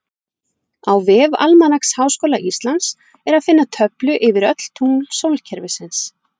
Á vef Almanaks Háskóla Íslands er að finna töflu yfir öll tungl sólkerfisins.